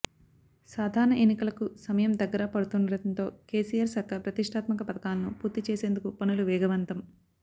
సాధారణ ఎన్నికలకు సమయం దగ్గర పడుతుండటంతో కేసీఆర్ సర్కార్ ప్రతిష్టాత్మక పథకాలను పూర్తి చేసేందుకు పనులు వేగవంతం